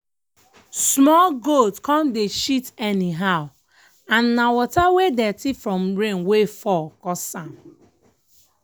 small goat come dey shit anyhow and na water wey dirty from rain wey fall cause am